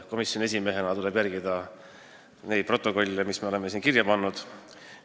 Komisjoni esimehena tuleb mul järgida protokolle – neid mõtteid, mis me oleme sinna kirja pannud.